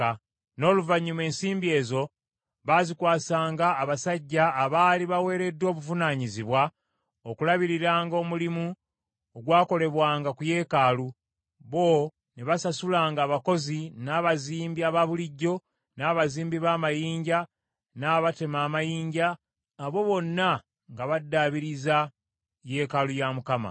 N’oluvannyuma ensimbi ezo baazikwasanga abasajja abaali baweereddwa obuvunaanyizibwa okulabiriranga omulimu ogwakolebwanga ku yeekaalu, bo ne basasulanga abakozi, n’abazimbi abaabulijjo, n’abazimbi b’amayinja, n’abatema amayinja, abo bonna nga baddaabiriza yeekaalu ya Mukama .